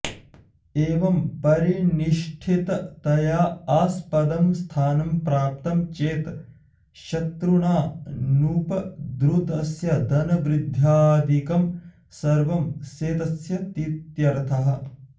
एवं परिनिष्ठिततया आस्पदं स्थानं प्राप्तं चेत् शत्रुणाऽनुपद्रुतस्य धनवृद्ध्यादिकं सर्वं सेत्स्यतीत्यर्थः